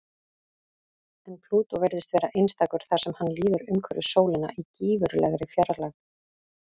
En Plútó virðist vera einstakur þar sem hann líður umhverfis sólina í gífurlegri fjarlægð.